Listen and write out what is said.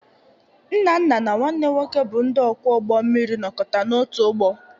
Nnanna na nwanne m nwoke bụ ndị ọkwọ ụgbọ mmiri nọkọta n'otu ụgbọ.